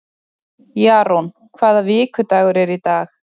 Jarún, hvaða vikudagur er í dag?